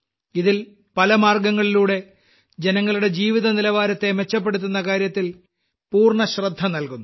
ഇതിൽ പല മാർഗ്ഗങ്ങളിലൂടെ ജനങ്ങളുടെ ജീവിതനിലവാരത്തെ മെച്ചപ്പെടുത്തുന്ന കാര്യത്തിൽ പൂർണ്ണശ്രദ്ധ നൽകുന്നു